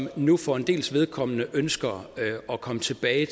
og som nu for en dels vedkommende ønsker at komme tilbage